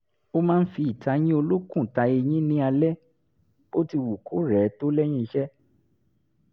ó máa ń fi ìtayín olókùn ta eyín ní alaalẹ́ bóti wù kó rẹ̀ ẹ́ tó lẹ́yìn iṣẹ́